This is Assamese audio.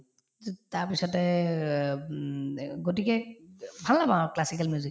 তাৰপিছতে অ উম অ গতিকে ভাল নাপাওঁ আৰু classical music